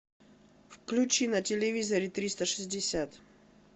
включи на телевизоре триста шестьдесят